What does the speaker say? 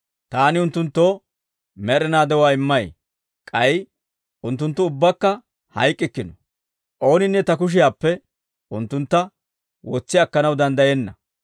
Taani unttunttoo med'inaa de'uwaa immay; k'ay unttunttu ubbakka hayk'k'ikkino. Ooninne Ta kushiyaappe unttuntta wotsi akkanaw danddayenna.